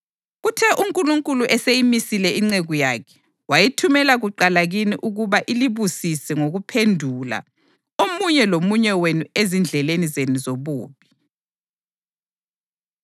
Kuthe uNkulunkulu eseyimisile inceku yakhe, wayithumela kuqala kini ukuba ilibusise ngokuphendula omunye lomunye wenu ezindleleni zenu zobubi.”